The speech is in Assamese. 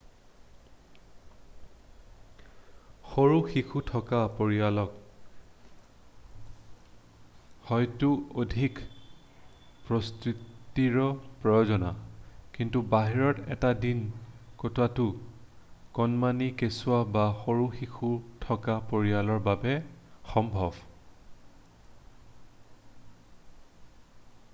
সৰু শিশু থকা পৰিয়ালক হয়তো অধিক প্ৰস্তুতিৰ প্ৰয়োজন কিন্তু বাহিৰত এটা দিন কটোৱাটো কণমানি কেচুৱা বা সৰু শিশু থকা পৰিয়ালৰ বাবে সম্ভৱ